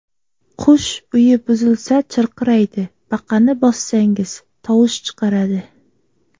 Qush uyi buzilsa, chirqiraydi, baqani bossangiz, tovush chiqaradi.